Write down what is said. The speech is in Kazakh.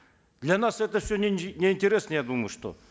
для нас это все неинтересно я думаю что